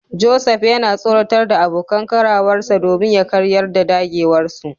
Joseph yana tsoratar da abokan karawarsa domin ya karyar da dagewarsu.